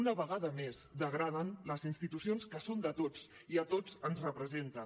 una vegada més degraden les institucions que són de tots i a tots ens representen